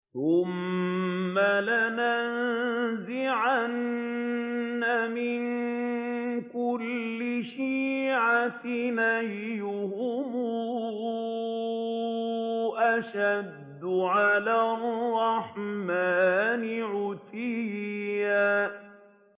ثُمَّ لَنَنزِعَنَّ مِن كُلِّ شِيعَةٍ أَيُّهُمْ أَشَدُّ عَلَى الرَّحْمَٰنِ عِتِيًّا